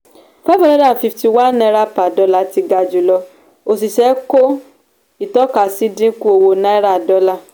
five hundred and fifty one aira per dollar ti ga jùlọ òṣìṣẹ́ kò ìtọ́kasí dínkù owó náírà-dọ́là